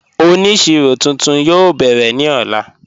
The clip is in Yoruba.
Ọnísíro tuntun yóò bẹ̀rẹ̀ ni ọ̀lá